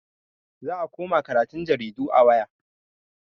Za a koma karatun jaridu a waya.